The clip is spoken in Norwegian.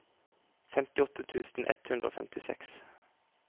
femtiåtte tusen ett hundre og femtiseks